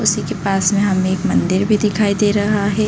उसी के पास में हमें एक मंदिर भी दिखाई दे रहा है।